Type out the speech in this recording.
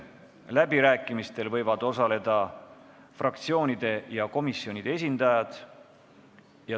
Läbirääkimistel võivad osaleda fraktsioonide ja komisjonide esindajad.